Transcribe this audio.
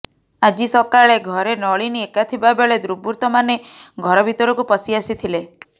ଆଜି ସକାଳେ ଘରେ ନଳିନୀ ଏକା ଥିବାବେଳେ ଦୁର୍ବୃତ୍ତମାନେ ଘର ଭିତରକୁ ପଶି ଆସିଥିଲେ